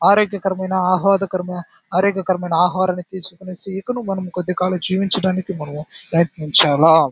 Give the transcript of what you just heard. అరోగ్యకరమైన అహ్వాదకరము ఆరోగ్యకరమైన ఆహారం తీసుకొనిసి మనం కొద్దీ కాలం జీవించడానికి మనము ప్రయత్నించాల --